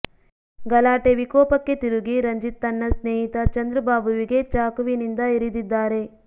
ಗಲಾಟೆ ವಿಕೋಪಕ್ಕೆ ತಿರುಗಿ ರಂಜಿತ್ ತನ್ನ ಸ್ನೇಹಿತ ಚಂದ್ರಬಾಬುವಿಗೆ ಚಾಕುವಿನಿಂದ ಇರಿದಿದ್ದಾರೆ